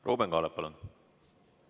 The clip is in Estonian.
Ruuben Kaalep, palun!